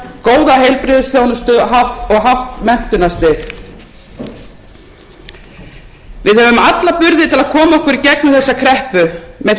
góða heilbrigðisþjónustu og hátt menntunarstig við höfum alla burði til að koma okkur í gegnum þessa kreppu með þeim dugnaði og elju sem þjóð okkar